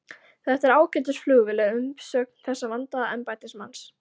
Þetta er ágætis flugvél er umsögn þessa vandaða embættismanns.